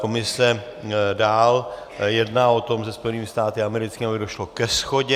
Komise dál jedná o tom se Spojenými státy americkými, aby došlo ke shodě.